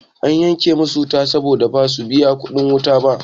Ana yanke musu wuta saboda basu biya kuɗin wuta ba.